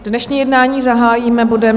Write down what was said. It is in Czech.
Dnešní jednání zahájíme bodem